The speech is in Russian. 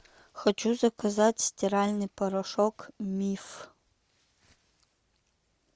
хочу заказать стиральный порошок миф